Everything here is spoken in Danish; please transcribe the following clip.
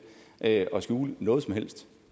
at skjule noget som helst